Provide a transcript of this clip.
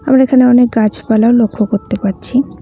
আমরা এখানে অনেক গাছপালাও লক্ষ করতে পারছি।